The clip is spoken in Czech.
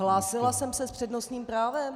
Hlásila jsem se s přednostním právem!